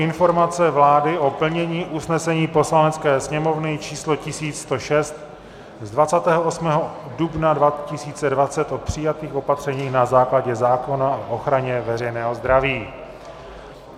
Informace vlády o plnění usnesení Poslanecké sněmovny č. 1106 z 28. dubna 2020 o přijatých opatřeních na základě zákona o ochraně veřejného zdraví